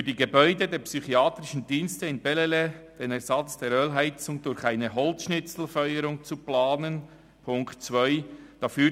] für die Gebäude der psychiatrischen Dienste in Bellelay den Ersatz der Ölheizung durch eine Holzschnitzelfeuerung zu planen.» und unter Ziffer 2 «[…